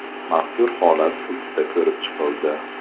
Mazkur holat sudda ko‘rib chiqildi.